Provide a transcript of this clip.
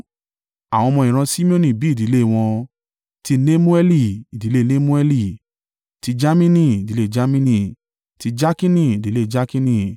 Àwọn ọmọ ìran Simeoni bí ìdílé wọn: ti Nemueli, ìdílé Nemueli; ti Jamini, ìdílé Jamini; ti Jakini, ìdílé Jakini;